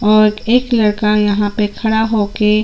और एक लड़का यहाँ पर खड़ा होके--